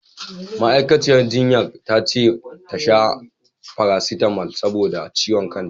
Ma'aikaciyar jinyar ta ce ta sha farasitamal saboda ciwon kanta.